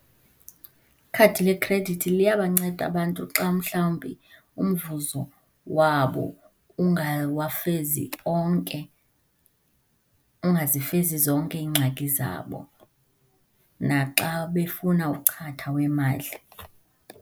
Ikhadi lekhredithi liyabanceda abantu xa mhlawumbi umvuzo wabo ungawafezi onke, ungazifezi zonke iingxaki zabo, naxa befuna uchatha wemali.